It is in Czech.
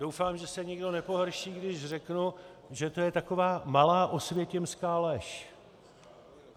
Doufám, že se nikdo nepohorší, když řeknu, že to je taková malá osvětimská lež.